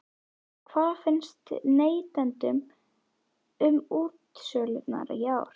En hvað finnst neytendum um útsölurnar í ár?